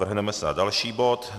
Vrhneme se na další bod.